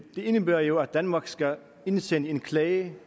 indebærer jo at danmark skal indsende en klage